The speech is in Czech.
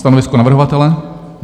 Stanovisko navrhovatele?